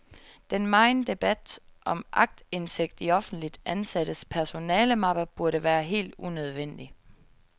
Den megen debat om aktindsigt i offentligt ansattes personalemapper burde være helt unødvendig.